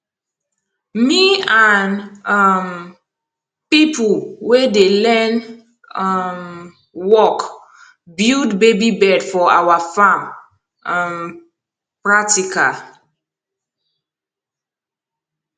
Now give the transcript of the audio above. me and um pipo wey dey learn um work build baby bed for awa farm um practical